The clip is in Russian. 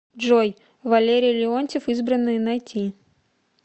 джой валерий леонтьев избранные найти